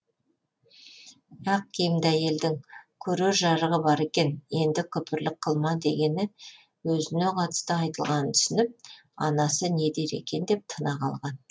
ақ киімді әйелдің көрер жарығы бар екен енді күпірлік қылма дегені өзіне қатысты айтылғанын түсініп анасы не дер екен деп тына қалған